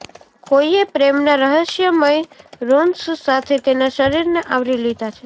કોઈએ પ્રેમના રહસ્યમય રુન્સ સાથે તેના શરીરને આવરી લીધાં છે